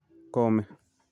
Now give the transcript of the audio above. kome."